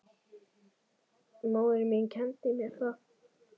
Móðir mín kenndi mér það.